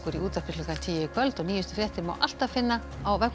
í útvarpinu klukkan tíu í kvöld og nýjustu fréttir má alltaf finna á vefnum